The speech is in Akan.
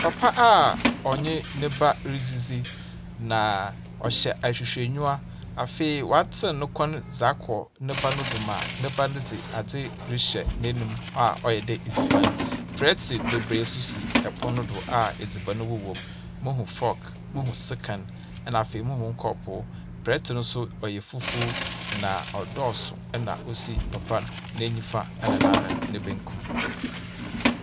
Papa a ɔnye ne ba redzidzi na ɔhyɛ ahwehwɛnyiwa, afei a watsen ne kɔ de akɔ ne ba no do ma ne ba no de adze rehyɛ n'ano a ɔyɛ dɛ edziban. Plɛɛte bebree nso si pono no do a edziban wowɔ mu. Muhu fork, muhu sekan, afei muhu kɔɔpo. Plɛɛte no nso ɔyɛ fufuo na ɔdɔɔso na ɔsi papa no n'enifa na ne benkum.